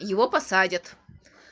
его посадят